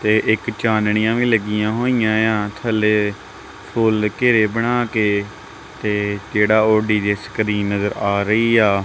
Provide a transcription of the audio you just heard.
ਤੇ ਇੱਕ ਚਾਨਣੀਆਂ ਵੀ ਲੱਗਿਆਂ ਹੋਈਆਂ ਏ ਆ ਥੱਲੇ ਫੁੱਲ ਘੇਰੇ ਬਣਾ ਕੇ ਤੇ ਜਿਹੜਾ ਉਹ ਡੀ_ਜੇ ਸਕ੍ਰੀਨ ਨਜ਼ਰ ਆ ਰਹੀ ਆ--